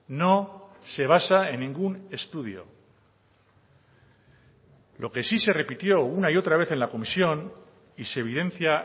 no se basa en ningún estudio lo que sí se repitió una y otra vez en la comisión y se evidencia